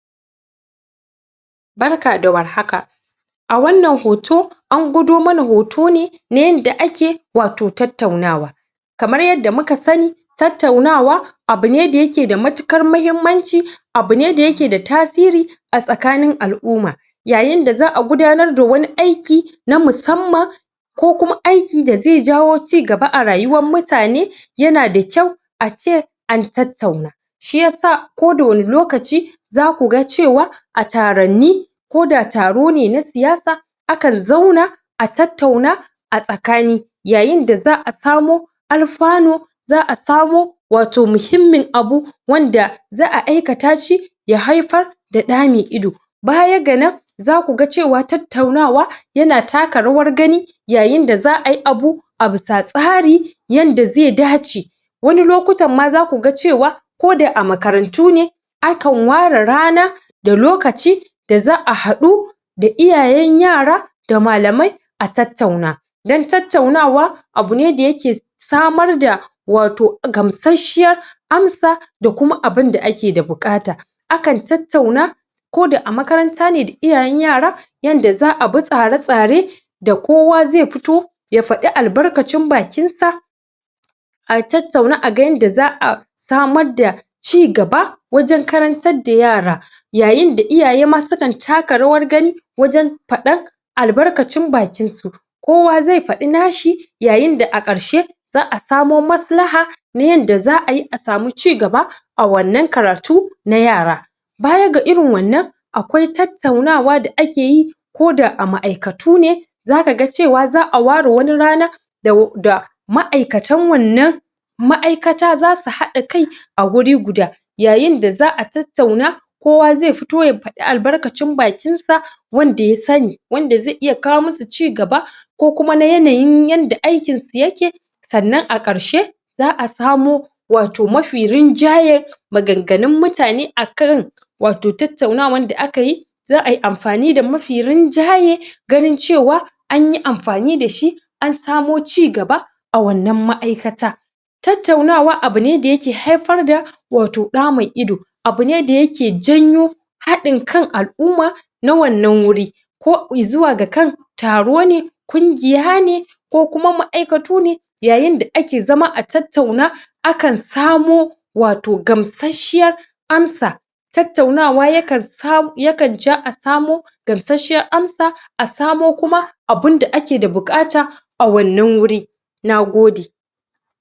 Barka da warhaka! a wannan hoto an gwado mana hoto ne na yanda ake wato tattaunawa kamar yanda muka sanni tattaunawa abune da yake da matuƙar mahimmanci abune da yake da tasiri a tsakanin al'uma yayin da za'a gudanar da wani aiki na musamman ko kuma aiki da zai jawo cigaba a rayuwan mutane yana da kyau a ce an tattauna shiyasa ko da wani lokaci zaku ga cewa a taranni koda taron ne na siyasa akan zauna a tattauna a tsakani yayin da za'a samo alfano za'a samo wato mihimmin abu wanda za'a aikata shi ya haifar da ɗa mai ido baya ga nan zaku ga cewa tattaunawa yana taka rawar gani yayin da za'a yi abu a bisa tsari yanda zai dace wani lokutan ma zaku ga cewa koda a makarantu ne akan ware rana da lokaci da za'a haɗu da iyayen yara da malamai a tattauna dan tattaunawa abune da yake samar da wato gamsashshiyar amsa da kuma abunda ake da buƙata akan tattauna koda a makaranta ne da iyayen yara yanda za'a bu tsara-tsare da kowa zai futo ya faɗi albarkacin bakin sa a tattauna a ga yanda za'a samadda cigaba wajen karantar da yara yayin da iyaye ma sukan taka rawar gani wajen faɗan albarkacin bakin su kowa zai faɗi nashi yayin da a ƙarshe za'a samo maslaha na yanda za'a yi a samu cigaba a wannan karatu na yara baya ga irin wannan akwai tattaunawa da ake yi koda a ma'aikatu ne zaka ga cewa za'a ware wani rana da ma'aikatan wannan ma'aikata zasu haɗa kai a guri guda yayin da za'a tattauna kowa zai futo faɗa albarkacin bakin sa wanda ya sanni wanda zai iya kawo musu cigaba ko kuma na yanayin yanda aikin yake sannan a ƙarshe za'a samo wato mafi rinjaye maganganun mutane akan wato tattaunawan da akayi za ai amfani da mafi rinjaye ganin cewa anyi amfani dashi an samo cigaba a wannan ma'aikata tattaunawa abune da yake haifar da wato ɗa mai ido abune da yake janyo haɗin kan al'umma na wannan wuri ko izuwa ga kan taro ne kungiya ne ko kuma ma'aikatu ne yayin da ake zama a tattauna akan samo wato gamsashshiyar amsa tattaunawa ya kan sa ya kan ja a samo gamsashshiyar amsa a samo kuma abun da ake da buƙata a wannan wuri Nagode!